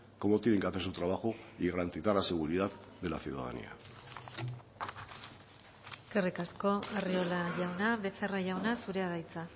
cómo tienen que hacer su trabajo y garantizar la seguridad de la ciudadanía eskerrik asko arriola jauna becerra jauna zurea da hitza